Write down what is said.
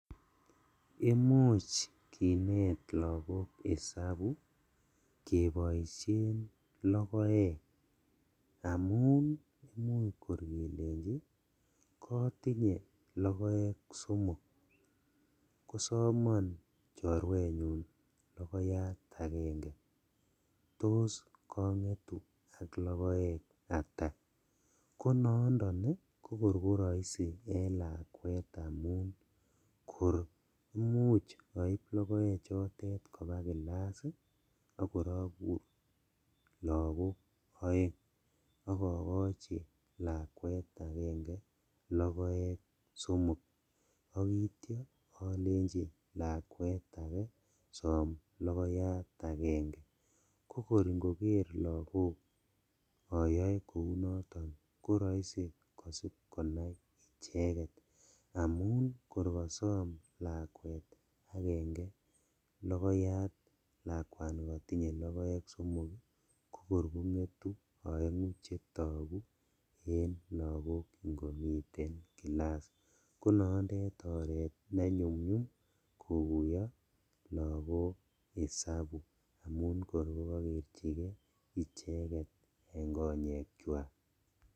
Imuch kinet lagok isabu keboishen logoek, amun imuch kor kelenjin kotinye logoek somok kosomon choruenyun logoyat agenge, tos kongetu ak logoek ata? Konondo kokor koroisi en lakwet amun kor imuch oib logoechotet koba class akor okur lagok oeng ak okochi lakwet agenge logoek somok ok itiot olenji lakwet ake som logoyat agenge kokor ingoker lagok oyoe kounoton koroisi kosib konai icheket, amun kor kosom lakwet agenge logoyat lakwani kotinye logoek somok ii kokor kongetu oengu chetogu en lagok ingomiten class konondet oret nenyumnyum kokuyo lagok isabu amun kor kokokerjigee icheket en konyekyak.